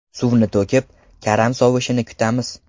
Suvni to‘kib, karam sovishini kutamiz.